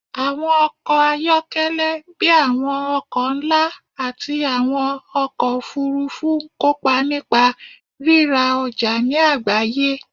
Àwọn ọkọ̀ ayọ́kẹ́lẹ́ bíi àwọn ọkọ̀ ńlá àti àwọn ọkọ̀ òfuurufú ń kópa nípa rírà ọjà ní agbaye